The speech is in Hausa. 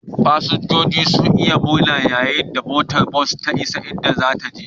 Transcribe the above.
Fasinjojin sun yi ta murna yayin da motar bas ta isa inda zata je